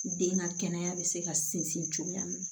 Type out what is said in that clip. Den ka kɛnɛya bɛ se ka sinsin cogoya min na